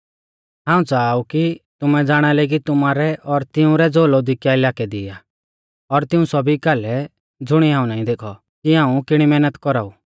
हाऊं च़ाहा ऊ कि तुमै ज़ाणालै कि तुमारै और तिऊं रै ज़ो लौदीकिया इलाकै दी आ और तिऊं सौभी कालै ज़ुणिऐ हाऊं नाईं देखौ कि हाऊं किणी मैहनत कौराऊ